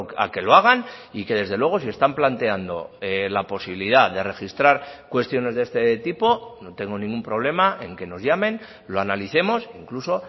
a que lo hagan y que desde luego si están planteando la posibilidad de registrar cuestiones de este tipo no tengo ningún problema en que nos llamen lo analicemos incluso